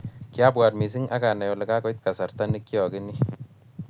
Kiabwat mising akanai ale kakoit kasarta ne kiokenyi